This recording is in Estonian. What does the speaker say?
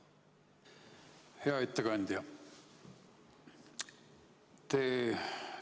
Hea ettekandja!